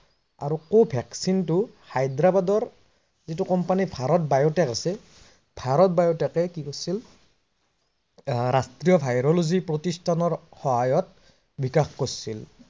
অৰু vaccine টো হায়দ্ৰাবাদৰ যিটো কোম্পানী ভাৰত biotech আছে, ভাৰত biotech এ কি কৰিছিল আহ ৰাষ্ট্ৰীয় ভায়ৰলজী প্ৰতিস্থানৰ সহায়ত বিকাশ কৰিছিল।